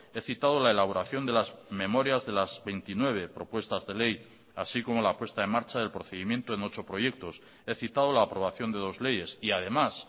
he citado la elaboración de las memorias de las veintinueve propuestas de ley así como la puesta en marcha del procedimiento en ocho proyectos he citado la aprobación de dos leyes y además